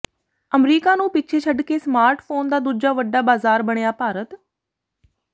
America ਨੂੰ ਪਿੱਛੇ ਛੱਡਕੇ ਸਮਾਰਟ ਫੋਨ ਦਾ ਦੂਜਾ ਵੱਡਾ ਬਾਜ਼ਾਰ ਬਣਿਆ ਭਾਰਤ